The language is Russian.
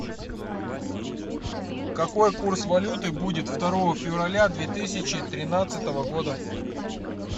какой курс валюты будет второго февраля две тысячи тринадцатого года